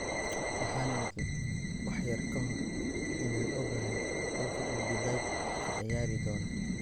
""" Waxaan idhi wax yar ka hor inaan ogahay halka uu De Ligt ka ciyaari doono."